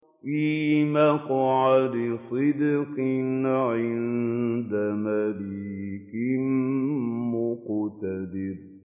فِي مَقْعَدِ صِدْقٍ عِندَ مَلِيكٍ مُّقْتَدِرٍ